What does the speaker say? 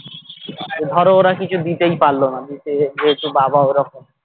ধরো ওরা কিছু দিতেই পারলো না দিতে যেহেতু বাবা ওরকম